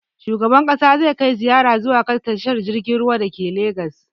Shugaban ƙasa zai kai ziyara zuwa ga tashar jirgin ruwan da ke legas